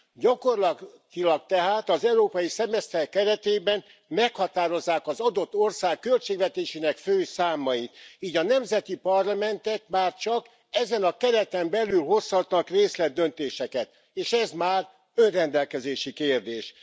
Gyakorlatilag tehát, az európai szemeszter keretében meghatározzák az adott ország költségvetésének fő számait, így a nemzeti parlamentek már csak ezen a kereten belül hozhatnak részletdöntéseket, és ez már önrendelkezési kérdés.